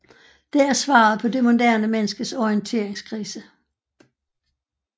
Det er svaret på det moderne menneskets orienteringskrise